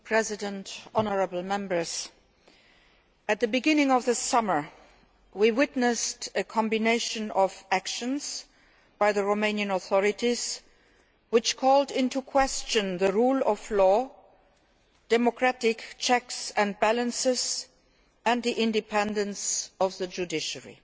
Mr President, honourable Members, at the beginning of this summer we witnessed a combination of actions by the Romanian authorities, which called into question the rule of law, democratic checks and balances and the independence of the judiciary.